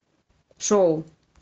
шоу